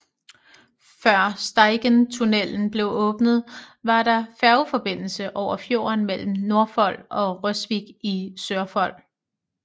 Før Steigentunnelen blev åbnet var der færgeforbindelse over fjorden mellem Nordfold og Røsvik i Sørfold